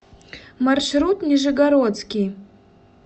маршрут нижегородский